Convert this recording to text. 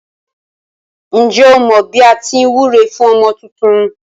Ǹjẹ́ o mọ bí à á ti wúre fún ọmọ tuntun.